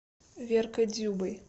веркой дзюбой